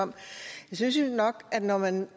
om jeg synes jo nok at når man